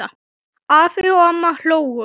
Afi og amma hlógu.